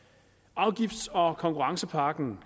afgifts og konkurrencepakken